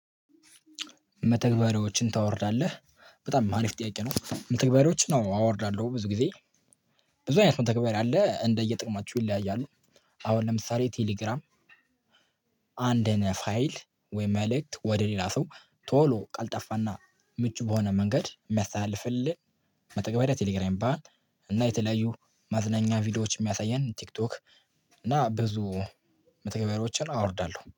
መተግበሪያዎችን ታወርዳለህ? በጣም ማሪፍ ጥያቄ ነው። መተግበሪያዎችን አዎ። አወርዳለሁ ብዙ ጊዜ። ብዙ አይነት መተግበር ያለ እንደየጥቅማችሁ ይለያያሉ። አሁን ለምሳሌ ቴሌግራም አንድን ፋይል ወይ መልእክት ወደ ሌላ ሰው ቶሎ ቀልጠፋና ምቹ በሆነ መንገድ የሚያሳልፍልን መጠገብ የቴሌግራም ይባላል። እና የተለያዩ ማዝናኛ ቪዲዮዎች የሚያሳየን ቲክቶክ እና ብዙ መተግበሮችን አወርዳለሁ።